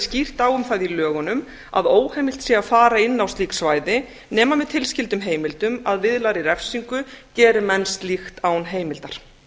skýrt á um það í lögunum að óheimilt sé að fara inn á slík svæði nema með tilskyldum heimildum að viðlagðri refsingu geri menn slíkt án heimildar